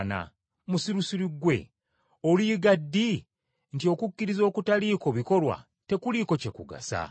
Musirusiru ggwe! Oliyiga ddi ng’okukkiriza okutaliiko bikolwa tekuliiko kye kugasa?